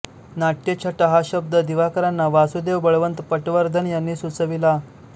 नाट्यछटा हा शब्द दिवाकरांना वासुदेव बळवंत पटवर्धन यांनी सुचविला